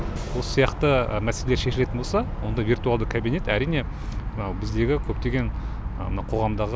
осы сияқты мәселе шешілетін болса онда виртуалды кабинет әрине мынау біздегі көптеген мына қоғамдағы